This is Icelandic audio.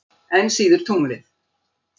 Enn síður tunglið.